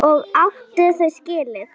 Og átti þau skilið.